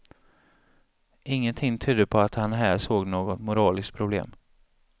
Ingenting tydde på att han här såg något moraliskt problem.